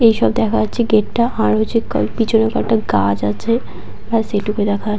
এইসব দেখা যাচ্ছে গেট -টা। আর রয়েছে ক পিছনে কয়েকটা গাছ আছে। ব্যাস এইটুকু দেখা--